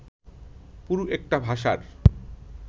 পুরো একটা ভাষার